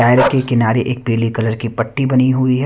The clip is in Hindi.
टायर के किनारे एक पीली कलर की पट्टी बनी हुई है।